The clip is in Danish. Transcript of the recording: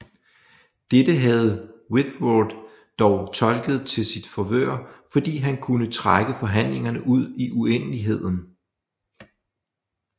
Dette havde Whitworth dog tolket til sit favør fordi han kunne trække forhandlingerne ud i uendeligheden